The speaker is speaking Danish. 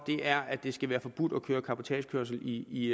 er at det skal være forbudt at køre cabotagekørsel i